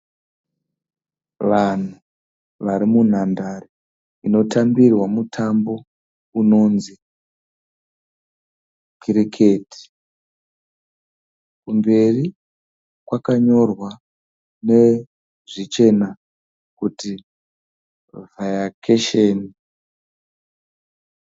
Vanhu varimunhandare inotambirwa mutambo unonzi kiriketi. kumberi kwakanyorwa nezvichena kuti viacation